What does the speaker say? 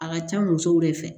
A ka ca musow de fɛ